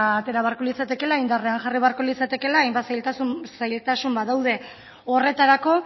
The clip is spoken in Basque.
atera beharko litzatekeela indarrean jarri beharko litzatekeela hainbat zailtasun badaude horretarako